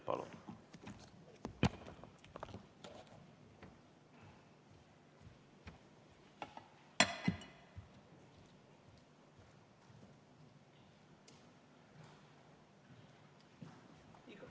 Palun!